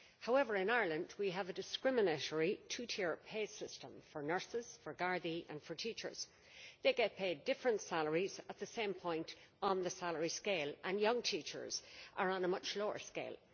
However, in Ireland we have a discriminatory two tier pay system for nurses, gardaí and teachers they get paid different salaries at the same point on the salary scale, and young teachers are on a much lower scale.